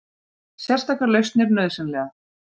Sérstakar lausnir nauðsynlegar